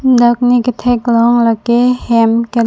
dak ne katheklong lake hem kelok.